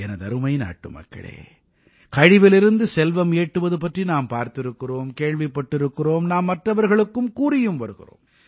எனதருமை நாட்டுமக்களே கழிவிலிருந்து செல்வம் ஈட்டுவது பற்றி நாம் பார்த்திருக்கிறோம் கேள்விப்பட்டிருக்கிறோம் நாம் மற்றவர்களுக்கும் கூறியும் வருகிறோம்